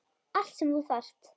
Allt sem þú þarft.